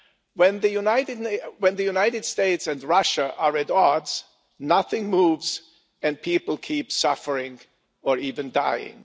When the United States and Russia are at odds, nothing moves and people keep suffering or even dying.